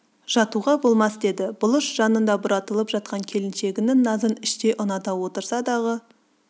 жатуға болмас деді бұлыш жанында бұратылып жатқан келіншегінің назын іштей ұната отырса дағы